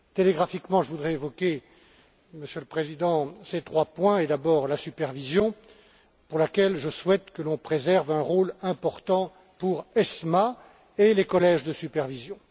Télégraphiquement, je voudrais évoquer, Monsieur le Président, ces trois points et d'abord la supervision pour laquelle je souhaite que l'on préserve un rôle important pour l'ESMA et les collèges de supervision.